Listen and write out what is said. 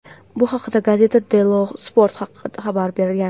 Bu haqda "Gazzetta Dello Sport" xabar bergan.